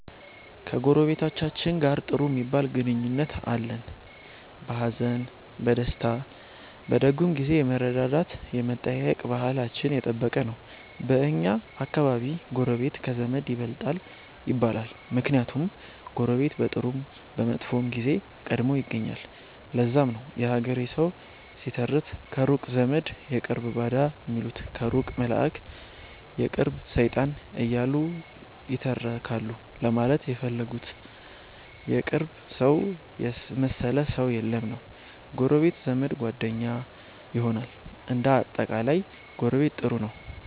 ከጎረቤቶቻችን ጋር ጥሩ ሚባል ግንኙነት አለን። በሀዘን፣ በደስታ፣ በደጉም ጊዜ የመረዳዳት የመጠያየቅ ባህላችን የጠበቀ ነው። በኛ አከባቢ ጎረቤት ከዘመድ ይበልጣል ይባላል። ምክንያቱም ጎረቤት በጥሩም በመጥፎም ጊዜ ቀድሞ ይገኛል። ለዛም ነው የሀገሬ ሠዉ ሲተርት ከሩቅ ዘመድ የቅርብ ባዳ ሚሉት ከሩቅ መላእክ የቅርብ ሠይጣን እያሉ ይተረካሉ ለማለት የፈለጉት የቅርብ ሠውን የመሠለ ሠው የለም ነዉ። ጎረቤት ዘመድ፣ ጓደኛ ይሆናል። እንደ አጠቃላይ ጎረቤት ጥሩ ነው።